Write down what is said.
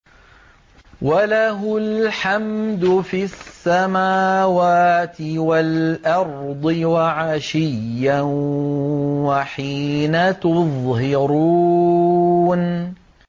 وَلَهُ الْحَمْدُ فِي السَّمَاوَاتِ وَالْأَرْضِ وَعَشِيًّا وَحِينَ تُظْهِرُونَ